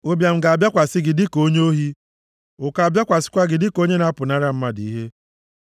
ụbịam ga-abịakwasị gị dịka onye ohi, ụkọ abịakwasịkwa gị dịka onye na-apụnara mmadụ ihe.